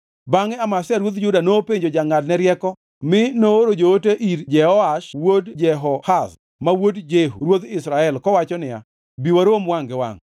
Bangʼe Amazia ruodh Juda nopenjo jongʼadne rieko mi nooro joote ir Jehoash wuod Jehoahaz ma wuod Jehu ruoth Israel kowacho niya, “Bi warom wangʼ gi wangʼ.”